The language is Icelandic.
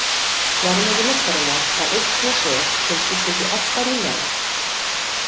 Verðmæti myntarinnar var einn pesói sem skiptist í átta ríala.